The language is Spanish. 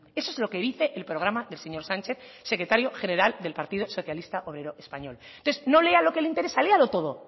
eso es lo que dice el programa del señor sánchez secretario general del partido socialista obrero español entonces no lea lo que le interesa léalo todo